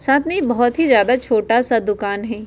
साथ में ये बोहोत ही ज्यादा छोटा-सा दुकान हई।